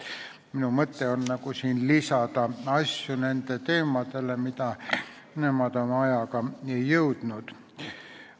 Minu mõte on lisada nendele teemadele neid asju, mida nemad ei jõudnud käsitleda.